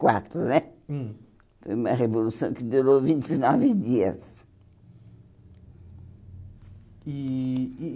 quatro né hum Foi uma revolução que durou vinte e nove dias. E e e